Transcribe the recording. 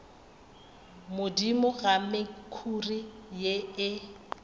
godimo ga mekhuri ye e